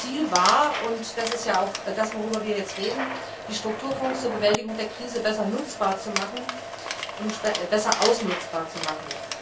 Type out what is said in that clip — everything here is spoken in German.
Ziel war und das ist auch das, worüber wir jetzt reden die Strukturfonds zur Bewältigung der Krise besser nutzbar und besser ausnutzbar zu machen.